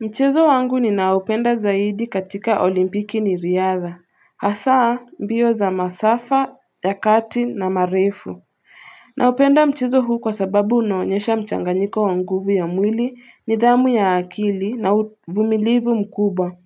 Mchezo wangu ninaoupenda zaidi katika olimpiki ni riadha Hasaa mbio za masafa ya kati na marefu Naupenda mchezo huu kwa sababu unaonyesha mchanganyiko wa nguvu ya mwili nidhamu ya akili na vumilivu mkubwa